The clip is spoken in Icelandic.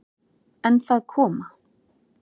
En það koma